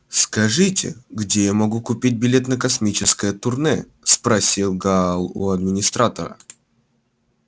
скажите где я могу купить билет на космическое турне спросил гаал у администратора